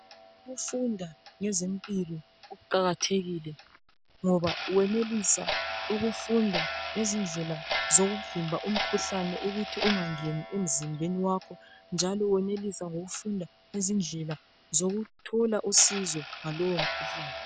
Ukufunda ngezempilo kuqakathekile ngoba ungenelisa ukufunda izindlela zokuvimba umkhuhlane ukuthi ungangeni emzimbeni wakho njalo wenelise ngokufunda ngezindlela zokuthola usizo ngalowo mkhuhlane.